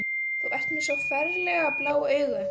Þú ert með svo ferlega blá augu.